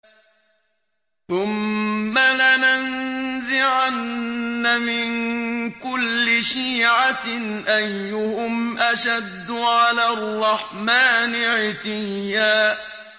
ثُمَّ لَنَنزِعَنَّ مِن كُلِّ شِيعَةٍ أَيُّهُمْ أَشَدُّ عَلَى الرَّحْمَٰنِ عِتِيًّا